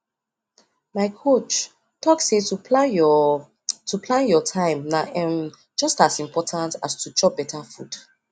my coach talk say to plan your to plan your time na um just as important as to chop better food